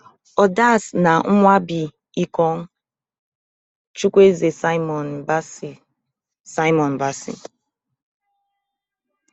odas na nwabali ekong chuwueze simon bassey simon bassey